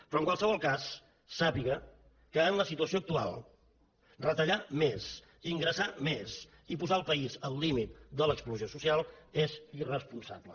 però en qualsevol cas sàpiga que en la situació actual retallar més ingressar més i posar el país al límit de l’explosió social és irresponsable